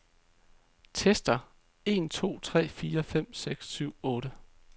Tester en to tre fire fem seks syv otte.